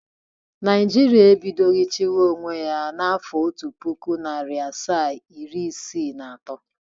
Naijiria ebidoghi chiwa onwe ya n'afọ otu puku, nari asaa, iri isii na ato.